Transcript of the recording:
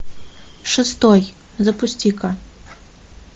шестой запусти ка